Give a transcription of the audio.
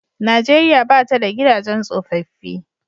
Nijeriya ba ta da gidajen tsofaffi.